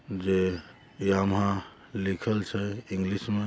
ये यामाहा लिखल छे इंग्लिश में--